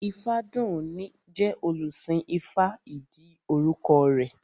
Ifádùúní jẹ́ olùsìn ifá ìdí orúkọ rẹ̀